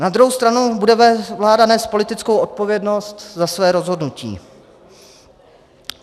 Na druhou stranu bude vláda nést politickou odpovědnost za své rozhodnutí.